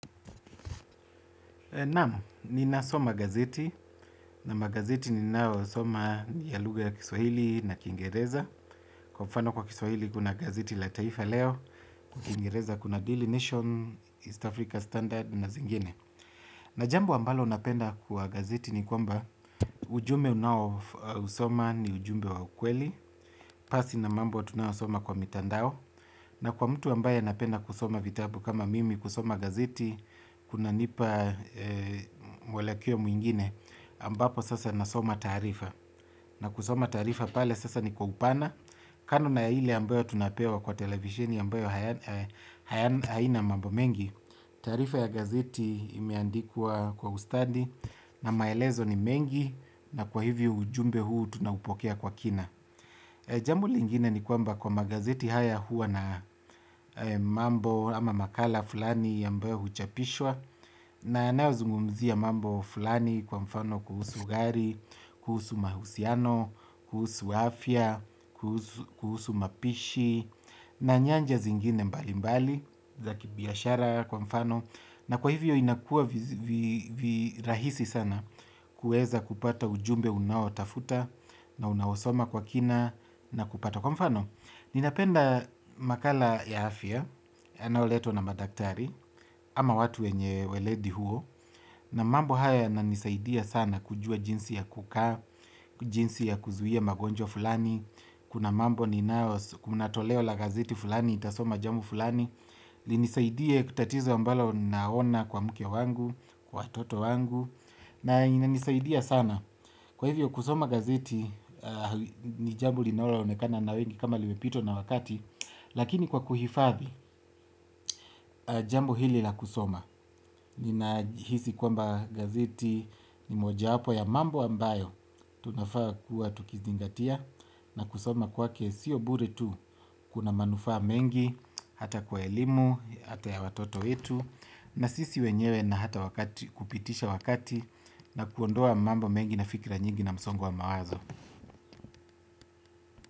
Naam, ninasoma gazeti na magazeti ninayosoma ni ya luga ya kiswahili na kingereza. Kwa mfano kwa kiswahili kuna gazeti la taifa leo, kingereza kuna Daily Nation, East Africa Standard na zingine. Na jambo ambalo napenda kwa gazeti ni kwamba ujumbe unaousoma ni ujumbe wa ukweli, pasi na mambo tunaosoma kwa mitandao, na kwa mtu ambaye anapenda kusoma vitabu kama mimi kusoma gazeti, kunanipa mwelekeo mwingine ambapo sasa nasoma taarifa. Na kusoma taarifa pale sasa ni kwa upana. Kando na hile ambayo tunapewa kwa televishini ambayo haina mambo mengi. Taarifa ya gazeti imeandikwa kwa ustadi. Na maelezo ni mengi na kwa hivyo ujumbe huu tunaupokea kwa kina. Jambo lingine ni kwamba kwa magazeti haya hua na mambo ama makala fulani ambayo huchapishwa. Na yanayo zungumzia mambo fulani kwa mfano kuhusu gari, kuhusu mahusiano, kuhusu afya, kuhusu mapishi. Na nyanja zingine mbali mbali za kibiashara kwa mfano na kwa hivyo inakua virahisi sana kueza kupata ujumbe unaotafuta na unausoma kwa kina na kupata kwa mfano ninapenda makala ya afya, yanayoletwa na madaktari, ama watu wenye weledi huo. Na mambo haya yananisaidia sana kujua jinsi ya kukaa, jinsi ya kuzuia magonjwa fulani. Kuna mambo ninayo, kuna toleo la gazeti fulani, nitasoma jambo fulani. Linisaidie kwa tatizo ambalo naona kwa mke wangu, kwa watoto wangu. Na inanisaidia sana. Kwa hivyo kusoma gazeti, ni jambo linalo onekana na wengi kama limepitwa na wakati, lakini kwa kuhifadhi, jambo hili la kusoma. Ninahisi kwamba gazeti ni moja wapo ya mambo ambayo, tunafaa kuwa tukizingatia na kusoma kwake sio bure tu kuna manufaa mengi, hata kwa elimu, hata ya watoto wetu, na sisi wenyewe na hata wakati kupitisha wakati na kuondoa mambo mengi na fikira nyingi na msongo wa mawazo.